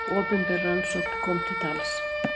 Opinber rannsókn kom til tals.